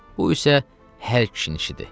Bu isə hər kişinin işidir.